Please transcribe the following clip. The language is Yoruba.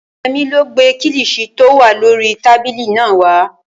Yẹmí ló gbé kílìṣí tí ó wà lórii tábìlì náà wá